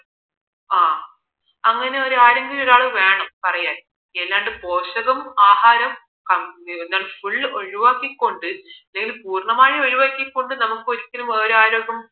ആ അങ്ങനെയൊരാൾ വേണം പറയാൻ അല്ലാണ്ട് പോഷകവും ആഹാരവും full ഒഴിവാക്കി കൊണ്ട് എന്തായാലും പൂർണമായി ഒഴിവാക്കി കൊണ്ട് നമുക്ക് ഒരിക്കലും എവിടെയായാലും